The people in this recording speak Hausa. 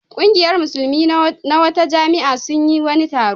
Ƙungiyar Musulmi na wata jami'a sun yi wani taro.